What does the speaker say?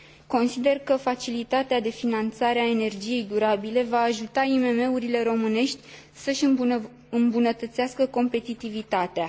Consider că facilitatea de finanțare a energiei durabile va ajuta IMM urile românești să își îmbunătățească competitivitatea.